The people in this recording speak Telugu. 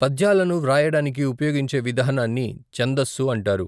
పద్యాలను వ్రాయడానికి ఉపయోగించే విధానాన్ని ఛందస్సు అంటారు.